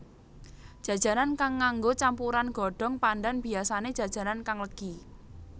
Jajanan kang nganggo campuran godhong pandan biyasané jajanan kang legi